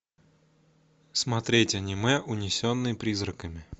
смотреть аниме унесенные призраками